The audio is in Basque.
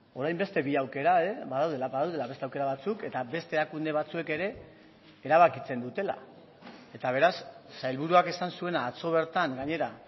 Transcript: orain beste bi aukera badaudela badaudela beste aukera batzuk eta beste erakunde batzuek ere erabakitzen dutela eta beraz sailburuak esan zuena atzo bertan gainera